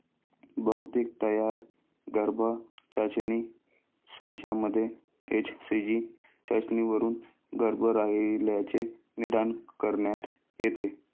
बहुतेक तयार गर्भाचाचणी संचामध्ये एचसीजी चाचणीवरून गर्भ राहिल्याचे निदान करण्यात येते.